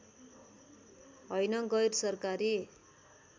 हैन गैर सरकारी